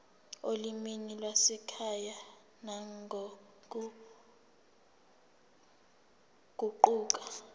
olimini lwasekhaya nangokuguquka